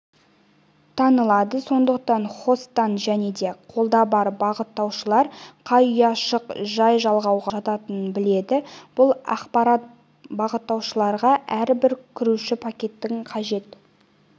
танылады сондықтан хосттар және де қолда бар бағыттаушылар қай ұяшық жай жалғауға жататынын біледі бұл ақпарат бағыттаушыларға әрбір кіруші пакеттің қажетті